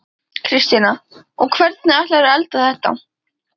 Kristjana: Og hvernig ætlarðu að elda þetta?